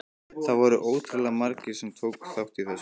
Það voru ótrúlega margir sem tóku þátt í þessu.